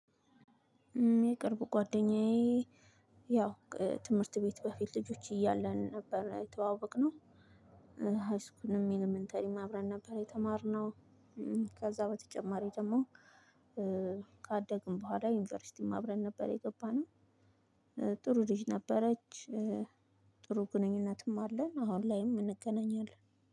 የቅርብ ጓደኛዬ ያው ትምህርት ቤት በፊት ልጆች እያለን ነበር የተዋወቅነው። ሃይስኩልም ኢለመንታሪም አብረን ነበር የተማርነው። ከዛ በተጨማሪ ደግሞ ካደግን በኋላ ዩኒቨርሲቲም አብረን ነበር የገባነው። ጥሩ ልጅ ነበረች። ጥሩ ግንኙነትም አለን አሁን ላይም እንገናኛለን።